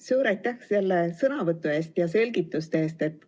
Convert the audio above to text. Suur aitäh selle sõnavõtu ja selgituste eest!